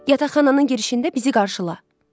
Yataqxananın girişində bizi qarşıla.